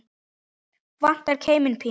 Vandar keiminn pínu.